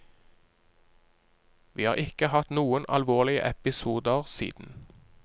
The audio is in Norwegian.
Vi har ikke hatt noen alvorlige episoder siden.